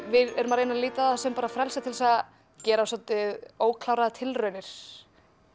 við erum að reyna að líta á það sem frelsi til að gera svolítið ókláraðar tilraunir